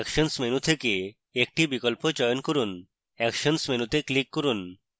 actions menu থেকে actions বিকল্প চয়ন করুন actions মেনুতে click করুন